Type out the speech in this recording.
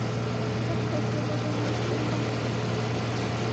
закрой приложение сбербанк